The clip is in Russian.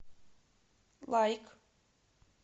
лайк